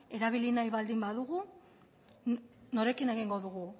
erabili nahi baldin badugu norekin egingo dugu